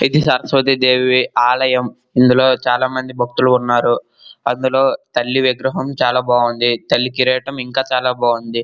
ఇది సరస్వతి దేవి ఆలయం. ఇందులో చాల మంది భక్తులు ఉన్నారు. అందులో తల్లి విగ్రహం బాగుంది. తల్లి కిరాటం ఇంకా చాలా బాగుంది.